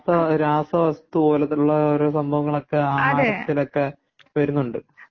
ഇപ്പം രാസവസ്തു പോലുള്ള ഓരോ സംഭവങ്ങള് ഒക്കെ ആഹാരത്തിലൊക്കെ വരുന്നുണ്ട്